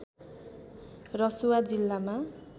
रसुवा जिल्लामा